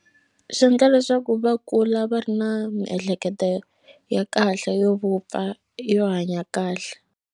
Swi endla leswaku va kula va ri na miehleketo ya kahle yo vupfa yo hanya kahle.